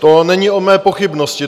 To není o mé pochybnosti.